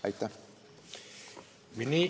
Aitäh!